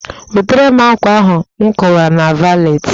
Wetere m ákwà ahụ nkowara na valetị